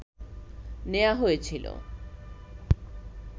নেয়া হয়েছিল